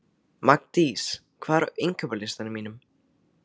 Magndís, hvað er á innkaupalistanum mínum?